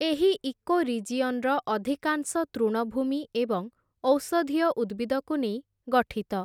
ଏହି ଇକୋରିଜିଅନ୍‌ର ଅଧିକାଂଶ ତୃଣଭୂମି ଏବଂ ଔଷଧୀୟ ଉଦ୍ଭିଦକୁ ନେଇ ଗଠିତ ।